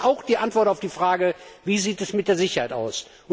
Dazu gehört auch die Antwort auf die Frage Wie sieht es mit der Sicherheit aus?